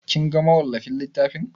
Kin ga mawallafin littafin?